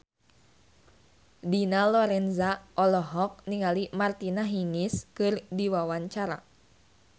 Dina Lorenza olohok ningali Martina Hingis keur diwawancara